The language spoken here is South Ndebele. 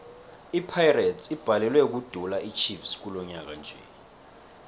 ipirates ibhalelwe kudula ichiefs kilonyaka nje